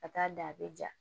Ka taa dan a bɛ ja